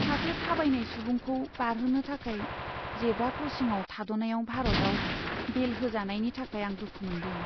सासे थाबायनाय सुबुंखौ बारहोनो थाखाय जेब्रा क्रसिंआव थाद'नायाव भारतआव बेल होजानायनि थाखाय आं दुखु मोन्दों।